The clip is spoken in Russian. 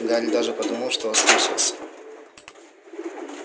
гарри даже подумал что ослышался